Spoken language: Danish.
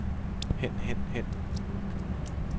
hen hen hen